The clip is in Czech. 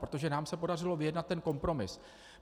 Protože nám se podařilo vyjednat ten kompromis.